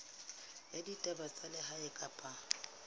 ya ditaba tsa lehae kapa